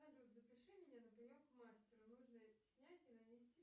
салют запиши меня на прием к мастеру нужно снять и нанести